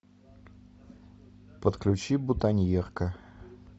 подключи бутоньерка